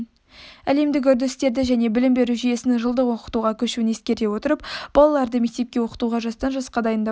әлемдік үрдістерді және білім беру жүйесінің жылдық оқытуға көшуін ескере отырып балаларды мектепте оқытуға жастан жасқа дейін дайындауды